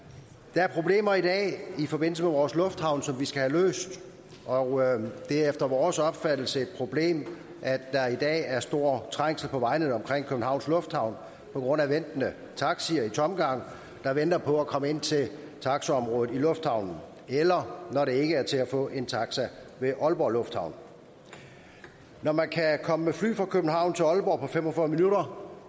der er problemer i dag i forbindelse med vores lufthavne som vi skal have løst og det er efter vores opfattelse et problem at der i dag er stor trængsel på vejene omkring københavns lufthavn på grund af taxier i tomgang der venter på at komme ind til taxaområdet i lufthavnen eller når det ikke er til at få en taxa ved aalborg lufthavn når man kan komme med fly fra københavn til aalborg på fem og fyrre minutter